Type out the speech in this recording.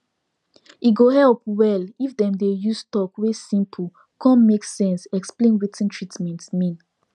e go help well if dem dey use talk wey simple cun make sense explain wetin treatment mean